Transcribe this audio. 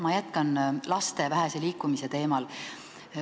Ma jätkan laste vähese liikumise teemal.